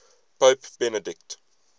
pope benedict